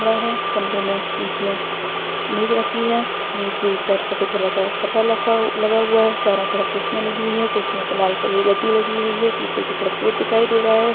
कमरा है कमरे में बीच में मेज रखी है मेज पर सफ़ेद कलर का कपड़ा लखा लगा हुआ है चारों तरफ कुर्सियाँ लगी हुई है कुर्सियों पे लाल कलर की गद्दी लगी हुई है पीछे की तरफ गेट दिखाई दे रहा है।